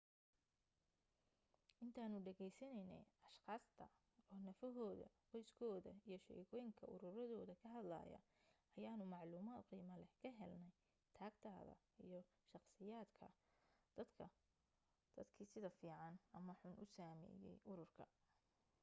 intaanu dhegaysanaynay ashqaasta oo nafahooda qoyskooda iyo sheekooyinka ururadooda ka hadlaya ayaanu macluumaad qiimo leh ka helnay tagtada iyo shaqsiyadaha dadkii sida fiican ama xun u saameeyay ururka